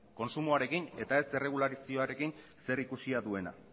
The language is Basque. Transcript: kontsumoarekin eta ez erregulazioarekin zerikusia duena